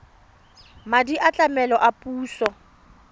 madi a tlamelo a puso